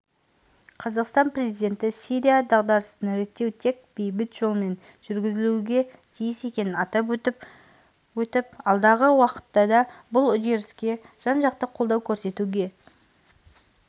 қазақстан президенті сирия дағдарысын реттеу тек бейбіт жолмен жүргізілуге тиіс екенін атап өтіп алдағы уақытта да бұл үдеріске жан-жақты қолдау көрсетуге